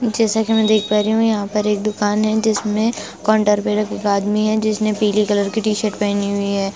जैसा कि मैं देख पा रही हूँ यहाँ पर एक दुकान है जिसमें काउंटर पर एक आदमी है जिसने पीले कलर की टी-शर्ट पहनी हुई है।